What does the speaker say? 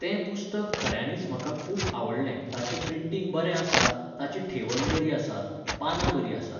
तें पुस्तक खऱ्यांनीच म्हाका खूब आवडलें ताचें प्रिटींग बरें आसा, ताची ठेवण बरी आसा, पानां बरीं आसात